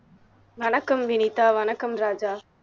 வணக்கம் வினிதா வணக்கம் ராஜா